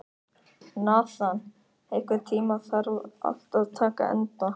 Nathan, einhvern tímann þarf allt að taka enda.